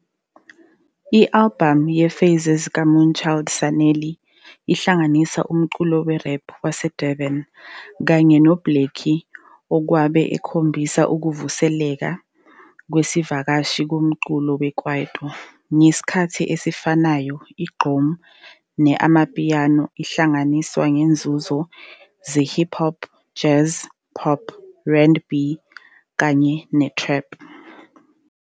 I-albhamu ye-Phases ka-Moonchild Sanelly ihlanganisa umculo we-rap waseDurban, kanye no-uBlxckie okwabe ekhombisa ukuvuseleka kwesivakashi komculo we-kwaito. Ngesikhathi esifanayo, i-gqom ne-amapiano ihlanganiswa nangezinzuzo ze-hip hop, jazz, pop, RandB, kanye ne-trap.